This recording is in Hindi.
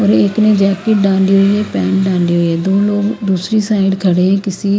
और एक ने जैकेट डाली हुई है पहन डाली हुई है दो लोग दूसरी साइड खड़े हैं किसी --